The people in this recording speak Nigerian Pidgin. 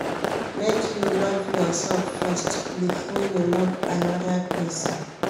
Make you love yoursef first, before you love anoda person.